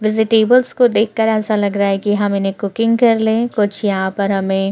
Vegetables को देखकर ऐसा लग रहा है कि हम इन्हैं कुकिंग कर ले। कुछ यहाँ पर हमें--